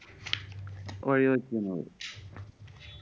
വഴിവെക്കുന്നത്.